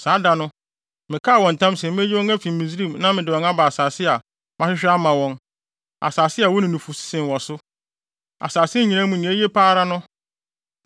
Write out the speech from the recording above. Saa da no, mekaa wɔn ntam se meyi wɔn afi Misraim na mede wɔn aba asase a mahwehwɛ ama wɔn, asase a ɛwo ne nufusu sen wɔ so, asase nyinaa mu nea ɛyɛ papa pa ara no.